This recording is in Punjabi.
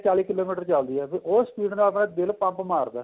ਚਾਲੀ ਕਿਲੋਮੀਟਰ ਚੱਲਦੀ ਏ ਉਹ speed ਨਾਲ ਆਪਣਾ ਦਿਲ pump ਮਾਰਦਾ